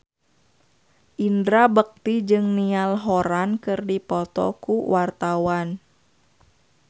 Indra Bekti jeung Niall Horran keur dipoto ku wartawan